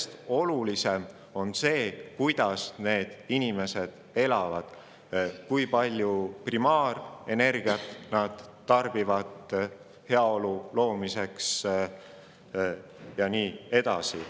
Aga olulisem veel kui maailma rahvaarv on see, kuidas inimesed elavad, kui palju primaarenergiat nad heaolu loomiseks tarbivad, ja nii edasi.